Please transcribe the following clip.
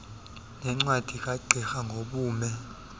nencwadi kagqirha ngobume